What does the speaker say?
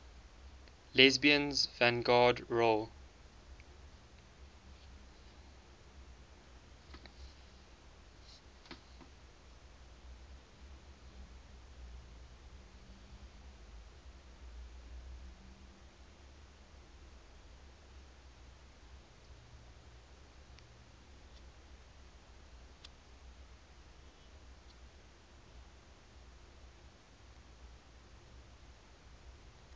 lesbians vanguard role